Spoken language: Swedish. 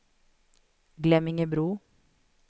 Glemmingebro